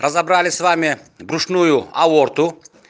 разобрали с вами брюшную аорту